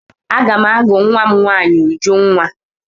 Aga m agụ nwa m nwaanyi Ujunwa.